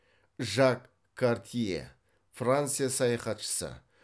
жак картье франция саяхатшысы